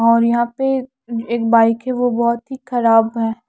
और यहाँ पे एक बाइक है वो बहोत ही ख़राब है।